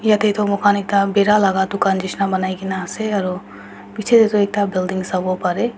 yatae toh moikhan ekta bhaera laka dukan nishina banai kaena ase aro bichae tae toh ekta building sawo parae.